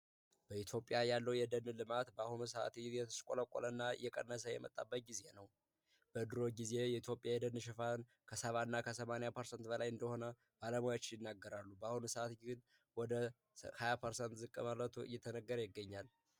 በኢትዮጵያ ያለው የደንልማት በአሁኑ ሰዓት ይ የተስለቆለ እና እየቀነሳ የመጣበቅ ጊዜ ነው በድሮች ጊዜ የኢትዮጵያ የደንሸፋን ከሰባ እና ከ80% በላይ እንደሆነ ባለማዎች ይናገራሉ በአሁን ሰዓት ይህን ወደ 20 %ሰ ዝቅ መረቶ እየተነገር ይገኛል።